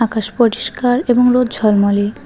আকাশ পরিষ্কার এবং রোদ ঝলমলে।